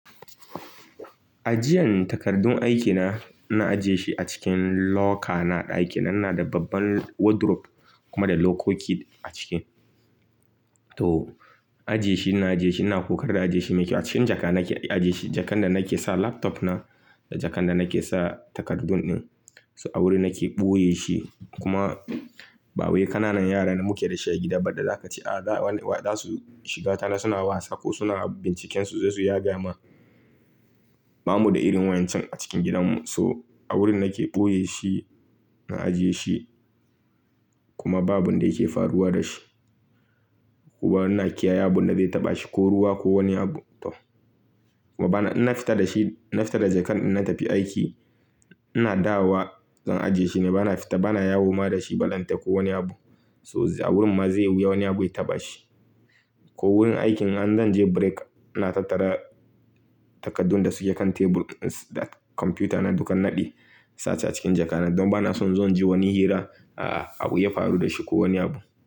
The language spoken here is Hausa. Ajiyan takardun aikina, ina ajiye shi a cikin locker na a ɗakina ina da babban wardrobe da kuma da lokoki a ciki. To, ajiye shi, ina ajiye shi ina ƙoƙarin na ajiye shi mai kyau. A cikin jaka nake ajiye shi, jakan da nake sa laptop na da jakan da nake sa takardun ɗin. So a wuri nake ɓoye shi kuma ba wai kananan yara da muke da shi a gida ba da za ka ce, a za wani, za su shiga ta na suna wasa ko suna binciken su za su yaga ma. Ba mu da irin wayan can a cikin gidanmu. So a wurin nake ɓoye shi, na ajiye shi kuma babu abunda yake faruwa da shi. Kuma ina kiyaye abun da zai taɓa shi ko ruwa ko wani abu to. Kuma bana, in na fita da shi, na fita da jakan idan na tafi aiki, ina dawowa zan ajiye shi ne. Bana fita bana yawo ma da shi ballantana ko wani abu. So a wurin ma zai yi wuya wani abu ya taɓa shi. Ko wurin aikin an zan je break, na tattara takardun da suke kan table ɗin da kwamfuta na duk in naɗe, in sa s a cikin jaka nan don bana son in zo in ji wani hira, a a abu ya faru da shi ko wani abu.